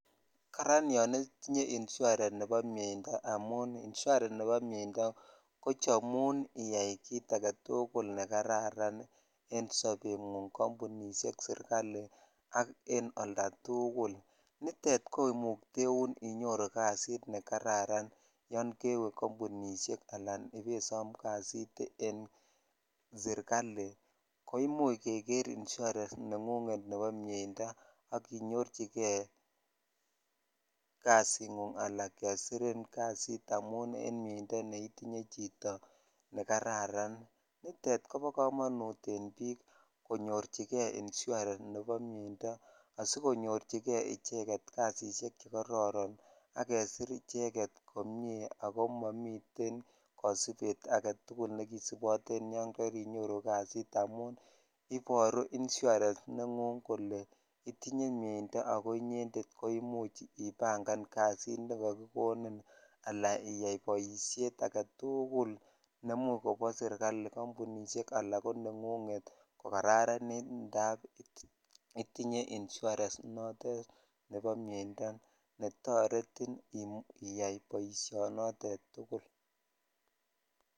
Karan yon itinye insurance nebo myeindo amun insurance nebo myeindo kochomun itsi kit agetukul ne kararan en sobengunng kampunishek serikali ak en aldatukul nitet komukteun kasit nekararan yon kewe kampunishek alan ibesom kasit en sirikali ibesom ko imuch keker insurance nengung nebo myeindo ak inyorchikei nyorchikei ak inyoru kasit amun en myeindo netinye chito ne kararan nit kobo komonut en bik konyorchikei insurance nebo myeindo asikonyorkei kasishek che kororon ak kesir icheget komie ako momiten kosibet agetukul nekisiboten yan karinyoru kasit amun iboru insurance nenguk kole itinye myeindo sko inyended ko imuch ibangan kait nekakikonik ala boishet agetukul ne imuch kono serikali ,kampunishe ala konengunget ko jararan Indap itinye Insurance notet nebo myeindo netoretin iyaa boishonotet tukul.